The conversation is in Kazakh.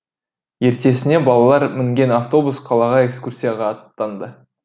ертесіне балалар мінген автобус қалаға экскурсияға аттанды